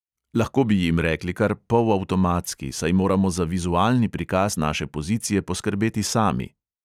Lahko bi jim rekli kar polavtomatski, saj moramo za vizualni prikaz naše pozicije poskrbeti sami.